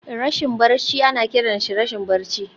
Rashin barci ana kiransa rashin barci.